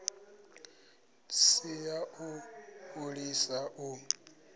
si ya u fholisa u